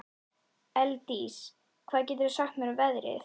Elddís, hvað geturðu sagt mér um veðrið?